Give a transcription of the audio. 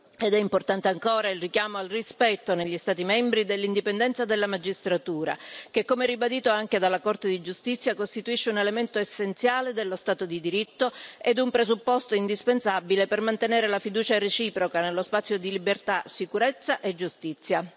Ed è importante ancora il richiamo al rispetto, negli Stati membri, dell'indipendenza della magistratura che, come ribadito anche dalla Corte di giustizia, costituisce un elemento essenziale dello Stato di diritto ed un presupposto indispensabile per mantenere la fiducia reciproca nello spazio di libertà, sicurezza e giustizia.